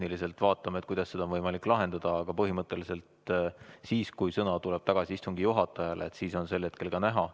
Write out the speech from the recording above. Me vaatame, kuidas seda on võimalik tehniliselt lahendada, aga põhimõtteliselt siis, kui sõna on taas istungi juhatajal, on see järjekord näha.